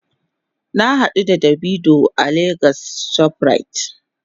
Na hadu da "davido" a lagos shoprite.